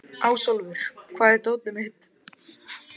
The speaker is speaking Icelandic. Ásólfur, hvar er dótið mitt?